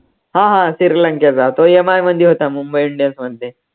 हा हा, श्रीलंकेचा तो MI मध्ये होता मुंबई इंडियन्समध्ये